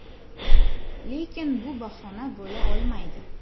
Lekin bu bahona bo‘la olmaydi.